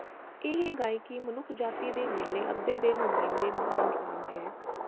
ਇਹ ਗਾਇਕੀ ਮਨੁੱਖਜਾਤੀ ਦੇ ਮੇਲੇ ਅੱਧੇ ਦੇ ਨੁਮਾਇੰਦੇ ਮਹਾਨ ਜਵਾਬ ਹੈ